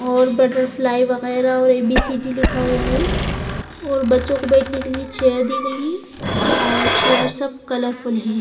और बटरफ्लाई वगैरह और ए बी सी डी लिखा हुआ है और बच्चों को बैठने के लिए चेयर दी गई और चेयर्स सब कलरफुल हैं।